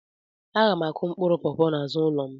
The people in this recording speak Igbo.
Aga m akụ mkpụrụ pọpọ n'azụ ụlọ m